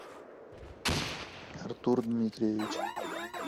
артур дмитриевич